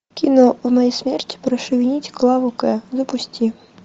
кино в моей смерти прошу винить клаву к запусти